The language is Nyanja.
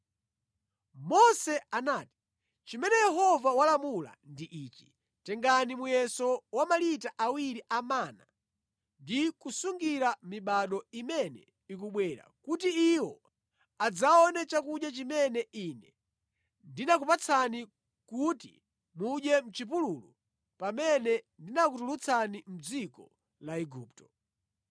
Mose anati, “Chimene Yehova walamula ndi ichi: ‘Tengani muyeso wa malita awiri a mana ndi kusungira mibado imene ikubwera, kuti iwo adzaone chakudya chimene Ine ndinakupatsani kuti mudye mʼchipululu pamene ndinakutulutsani mʼdziko la Igupto.’ ”